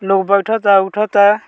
लोग बैठता उठता।